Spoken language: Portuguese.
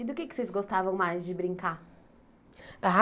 E do que é que vocês gostavam mais de brincar?